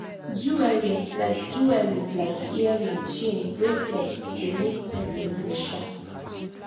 jewelries like jewelries like earring chain bracelets dey make person look sharp